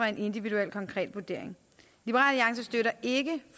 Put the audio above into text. en individuel konkret vurdering liberal alliance støtter ikke